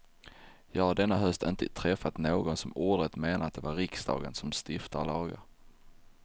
Jag har denna höst inte träffat någon som ordrätt menar att det är riksdagen som stiftar lagar.